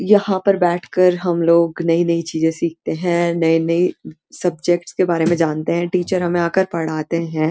यहाँ पर बैठ कर हम लोग नई-नई चीजे सीखते हैं नये-नये सबजेक्ट के बारे में जानते हैं टीचर हमें आकर पढ़ाते हैं।